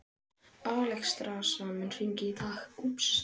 Alexstrasa, mun rigna í dag?